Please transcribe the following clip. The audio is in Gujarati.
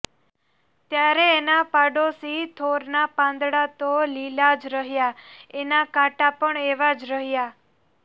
ત્યારે એના પાડોશી થોરનાં પાંદડાં તો લીલાં જ રહ્યાં એના કાંટા પણ એવા જ રહ્યા